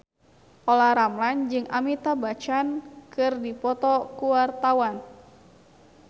Olla Ramlan jeung Amitabh Bachchan keur dipoto ku wartawan